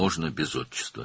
Ata adı olmadan da olar.